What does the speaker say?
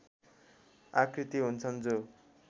आकृति हुन्छन् जो